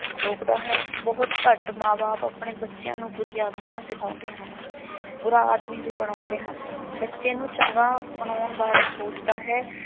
ਰੋਕਦਾ ਹੈ। ਬਹੁਤ ਘੱਟ ਮਾਂ ਬਾਪ ਆਪਣੇ ਬੱਚਿਆ ਨੂੰ ਬੁਰੀਆਂ ਆਦਤਾਂ ਸਿਖਾਉਂਦੇ ਹਨ। ਬੁਰਾ ਆਦਮੀ ਵੀ ਬਣਾਉਂਦੇ ਹਨ। ਬੱਚੇ ਨੂੰ ਚੰਗਾ ਬਣਾਉਣ ਬਾਰੇ ਸੋਚਦਾ ਹੈ।